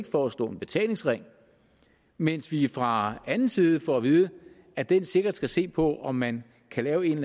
foreslå en betalingsring mens vi fra anden side får at vide at den sikkert skal se på om man kan lave en